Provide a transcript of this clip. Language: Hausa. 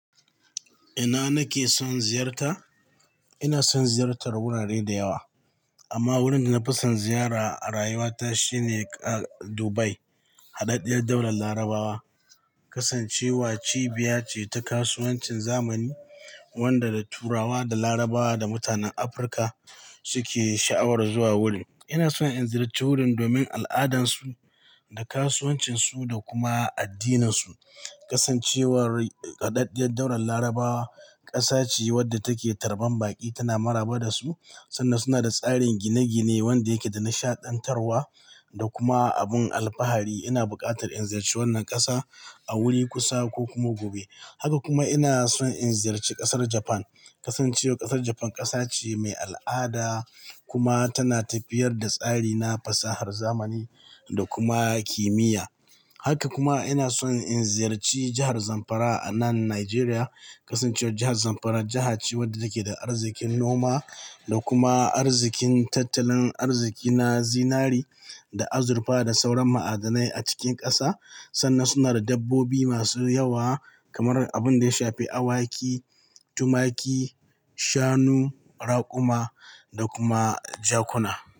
Ina nake son ziyarta? Ina son ziyartar wurare da yawa amma wurin da na fi son ziyara a rayuwata shine Dubai. Haɗaɗɗiyar daular Larabawa kasancewa cibiya ce ta kasuwancin zamani wanda da turawa da Larabawa da mutanen Afirka suke sha'awar zuwa wurin. Ina son in ziyarci wurin domin al'adansu da kasuwancinsu da kuma addininsu. Kasancewar haɗaɗɗiyar daular Larabawa ƙasa ce wadda take tarban baƙi tana maraba da su sannan suna da tsarin gine-gine wanda yake da nishaɗantarwa da kuma abin alfahari. Ina buƙatar in ziyarci wannan ƙasa a wuri kusa ko kuma gobe. Haka kuma ina son in ziyarci ƙasar Japan. Kasancewar ƙasar Japan ƙasa ce mai al'ada kuma tana tafiyar da tsari na fasahar zamani da kuma kimiyya. Haka kuma ina son in ziyarci jahar Zamfara a nan Najeriya. Kasancewar jahar Zamfara jiha ce wadda take da arzikin noma da kuma arzikin tattalin arziƙi na zinari da azurfa da sauran ma'adanai a cikin ƙasa sannan suna da dabbobi masu yawa kamar abin da ya shafi awaki, tumaki, shanu, raƙuma da kuma jakuna.